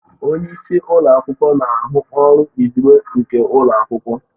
Onye isi ụlọ akwụkwọ na ahụ ọrụ izugbe nke ụlọ akwụkwọ